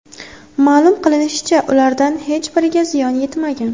Ma’lum qilinishicha, ulardan hech biriga ziyon yetmagan.